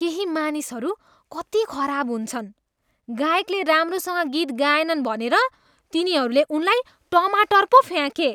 केही मानिसहरू कति खराब हुन्छन्। गायकले राम्रोसँग गीत गाएनन् भनेर तिनीहरूले उनलाई टमाटर पो फ्याँके।